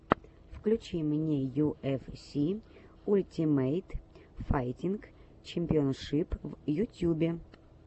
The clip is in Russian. включи мне ю эф си ультимейт файтинг чемпионшип в ютьюбе